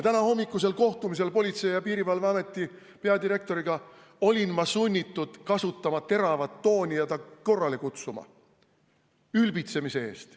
Tänahommikusel kohtumisel Politsei- ja Piirivalveameti peadirektoriga olin ma sunnitud kasutama teravat tooni ja kutsuma ta korrale ülbitsemise eest.